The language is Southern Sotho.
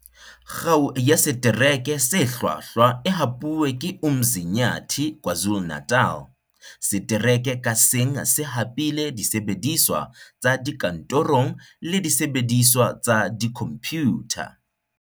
Kgao ya Setereke se Hlwahlwa e hapuwe ke Umzinyathi, KwaZulu-Natal. Setereke kang ka seng se hapile disebediswa tsa dikantorong le disebe diswa tsa dikhomphutha.